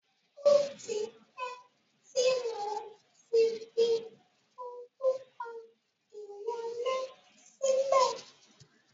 O tipẹ́ tí mo tí fi orúkọ ìwọlé sílẹ̀.